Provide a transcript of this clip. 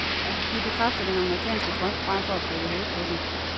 De bekræfter den amerikanske drøm frem for at prikke hul på den.